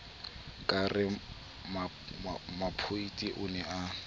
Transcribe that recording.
ka re mopheti o ne